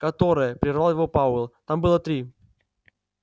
которое прервал его пауэлл там было три